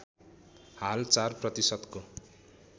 हाल ४ प्रतिशतको